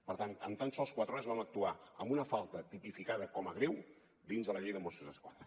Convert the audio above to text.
per tant en tan sols quatre hores vam actuar amb una falta tipificada com a greu dins de la llei de mossos d’esquadra